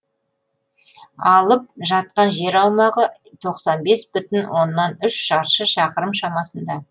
алып жатқан жер аумағы тоқсан бес бүтін оннан үш шаршы шақырым шамасында